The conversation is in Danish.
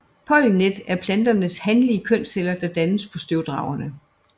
Pollenet er planternes hanlige kønsceller der dannes på støvdragerne